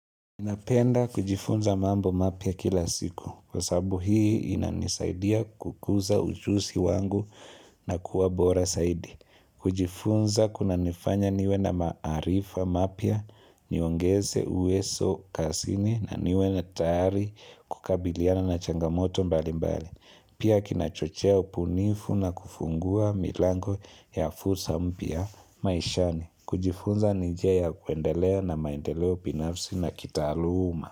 Ninapenda kujifunza mambo mapya kila siku, kwa sabu hii inanisaidia kukuza ujuzi wangu na kuwa bora zaidi. Kujifunza kunanifanya niwe na maarifa mapya, niongeze uwezo kazini na niwe na tayari kukabiliana na changamoto mbali mbali. Pia kinachochewa ubunifu na kufungua milango ya fursa mpya maishani. Kujifunza ni njia ya kuendeleo na maendeleo binafsi na kitaaluma.